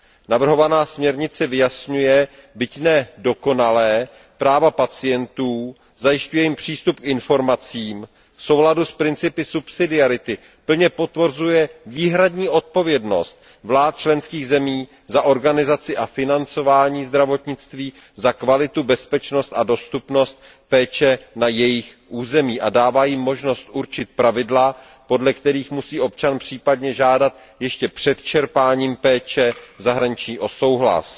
Navrhovaná směrnice vyjasňuje, byť ne dokonale, práva pacientů, zajišťuje jim přístup k informacím, v souladu s principem subsidiarity plně potvrzuje výhradní odpovědnost vlád členských zemí za organizaci a financování zdravotnictví, za kvalitu, bezpečnost a dostupnost péče na jejich území a dává jim možnost určit pravidla, podle kterých musí občan případně žádat ještě před čerpáním péče v zahraničí o souhlas.